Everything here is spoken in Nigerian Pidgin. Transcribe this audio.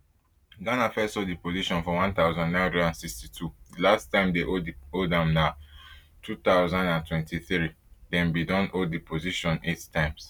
ghana first hold di position for one thousand, nine hundred and sixty-two di last time dey hold am na two thousand and twenty-three dem bin don hold di position eight times